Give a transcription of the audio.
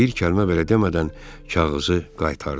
Bir kəlmə belə demədən kağızı qaytardım.